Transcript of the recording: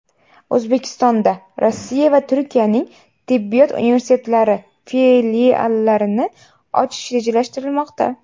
O‘zbekistonda Rossiya va Turkiyaning tibbiyot universitetlari filiallarini ochish rejalashtirilmoqda.